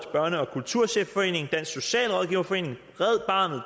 børne og kulturchefforeningen dansk socialrådgiverforening